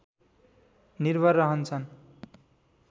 निर्भर रहन्छन्